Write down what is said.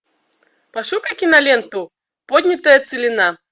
пошукай киноленту поднятая целина